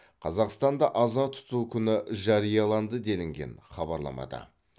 қазақстанда аза тұту күні жарияланды делінген хабарламада